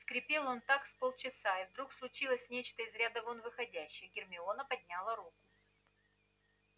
скрипел он так с полчаса и вдруг случилось нечто из ряда вон выходящее гермиона подняла руку